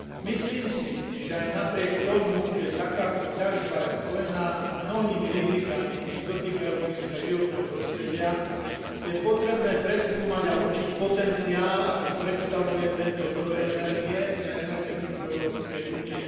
Myslím si, že aj napriek tomu, že takáto ťažba je spojená s mnohými rizikami dotýkajúcimi sa životného prostredia, je potrebné preskúmať a určiť potenciál, aký predstavuje tento zdroj energie pre energetiku Európskej únie.